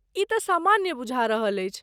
ई तऽ सामान्य बुझा रहल अछि।